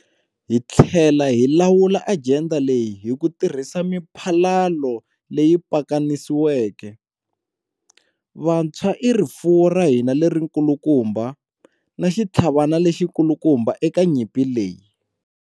Hi tlhela hi lawula ajenda leyi hi ku tirhisa miphalalo leyi pakanisiweke. Vantshwa i rifuwo ra hina lerikulukumba, na xitlhavana lexikulukumba eka nyimpi leyi.